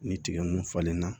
Ni tigɛ nunnu falen na